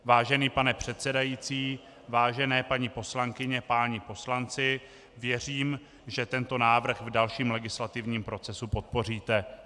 Vážený pane předsedající, vážené paní poslankyně, páni poslanci, věřím, že tento návrh v dalším legislativním procesu podpoříte.